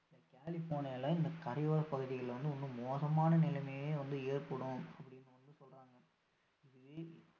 கலிபோர்னியால இந்த கரையோர பகுதிகள்ல வந்து இன்னும் மோசமான நிலைமையே வந்து ஏற்படும் வந்து அப்படீன்னு வந்து சொல்றாங்க இதுவே